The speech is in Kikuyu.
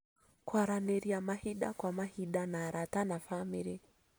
Kũaranĩria mahinda kwa mahinda na arata na bamĩrĩ